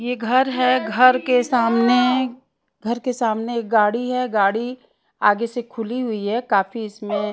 ये घर है घर के सामने घर के सामने एक गाड़ी है गाड़ी आगे से खुली हुई है काफी इसमें --